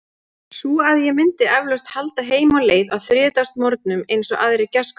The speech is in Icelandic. Svo að ég myndi eflaust halda heim á leið á þriðjudagsmorgninum, eins og aðrir gestkomandi.